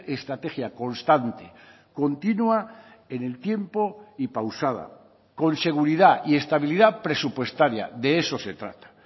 estrategia constante continua en el tiempo y pausada con seguridad y estabilidad presupuestaria de eso se trata